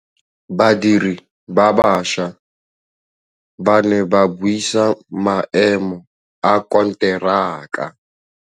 Badiri ba baša ba ne ba buisa maêmô a konteraka.